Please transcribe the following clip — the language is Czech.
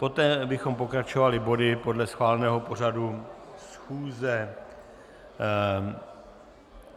Poté bychom pokračovali body podle schváleného pořadu schůze.